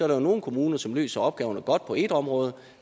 der er nogle kommuner som løser opgaven godt på et område